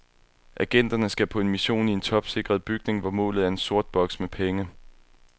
Agenterne skal på en mission i en topsikret bygning, hvor målet er en sort boks med penge.